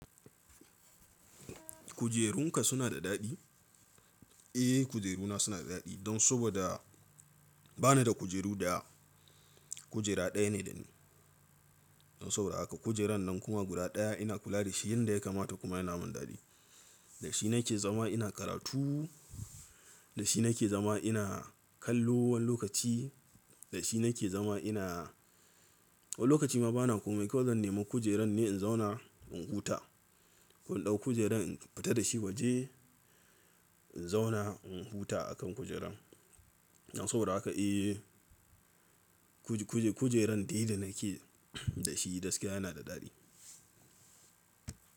Kujerunka suna da daɗi? Eh kujeruna suna da daɗi don saboda bani da kujeru da, kujera ɗaya ne dani. Don sau raka kujeran nan kuma guda ɗaya ina kula da shi, yanda ya kamata kuma yana mun daɗi. Da shi nake zama ina karatu, da shi nake zama ina kallo wani lokaci, da shi nake zama ina Wani lokaci ma bana komai kawai zan nema kujeran ne in zauna in huta. Ko In ɗau kujeran in fita da shi waje, in zauna in huta akan kujeran. Don sabida haka eh kujeran dai da nake da shi gaskiya yana da daɗi.